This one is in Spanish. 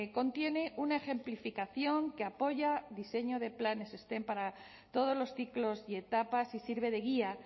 contiene una ejemplificación que apoya diseño de planes stem para todos los ciclos y etapas y sirve de guía